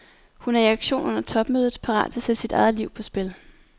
Hun er i aktion under topmødet, parat til at sætte sit eget liv på spil.